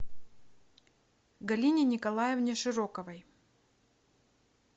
галине николаевне широковой